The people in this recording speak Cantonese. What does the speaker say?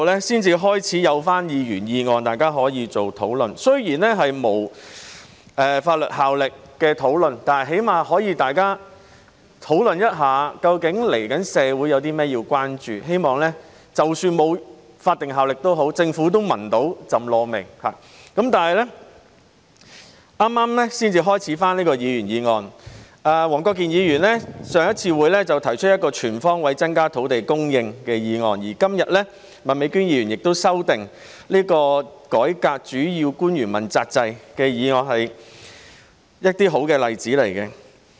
雖然議員議案是無立法效力的，但起碼大家可以討論一下究竟接下來社會有甚麼需要關注的問題，希望——即使那些議案沒有立法效力也好——政府能嗅到"????味"，但是，議員議案辯論是剛恢復不久，黃國健議員在早前的會議上提出"全方位增加土地供應"的議案，而今天，麥美娟議員則就"改革主要官員問責制"這項議案提出修正案。